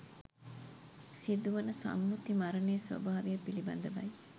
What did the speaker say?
සිදුවන සම්මුති මරණයේ ස්වභාවය පිළිබඳවයි